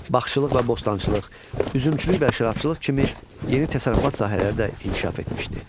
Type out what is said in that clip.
Bağçılıq və bostançılıq, üzümçülük və şərabçılıq kimi yeni təsərrüfat sahələri də inkişaf etmişdi.